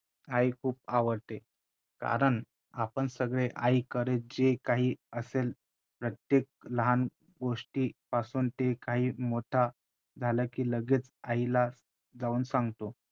आई खूप आवडते कारण आपण सगळे आईकडे जे काही असेल प्रत्येक लहान गोष्टी पासून ते काही मोठं झाल कि लगेच आईला जाऊन सांगतो.